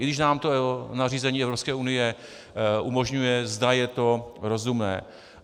I když nám to nařízení Evropské unie umožňuje, zda je to rozumné.